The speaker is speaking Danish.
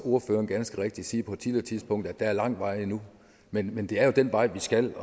ordføreren ganske rigtigt sige på et tidligere tidspunkt at der er lang vej endnu men men det er jo den vej vi skal